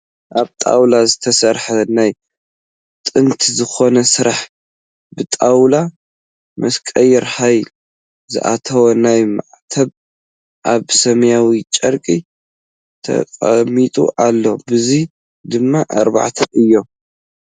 ካብ ጣውላ ዝተሰርሐ ናይ ጥንቲ ዝኮነ ስራሕ ብጣውላ መስቀል ሃሪ ዝኣተዎ ናይ ማዕተብ ኣብ ሰማያዊ ጨርቂ ተቀሚጡ ኣሎ። በዝሑ ድማ ኣርባዕተ እዩ።